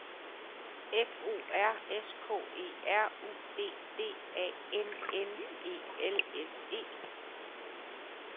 F O R S K E R U D D A N N E L S E